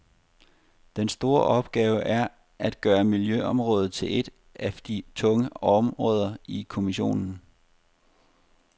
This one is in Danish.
Den store opgave er at gøre miljøområdet til et af de tunge områder i kommissionen.